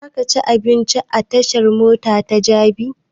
Za ka ci abinci a tashan mota ta jabi?